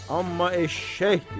Amma eşşəkdir.